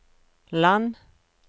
land